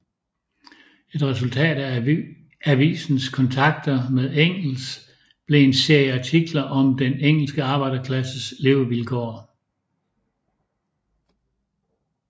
Et resultat af avisens kontakter med Engels blev en serie artikler om den engelske arbejderklassens levevilkår